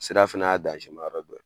Sira fɛnɛ y'a dɔ ye